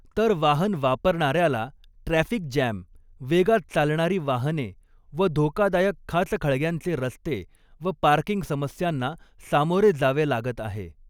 तर वाहन वापरणाऱ्याला ट्रॅफ़िक जॅम, वेगात चालणारी वाहने व धोकादायक खाचखळग्यांचे रस्ते व पार्कींग समस्यांना सामोरे जावे लागत आहे.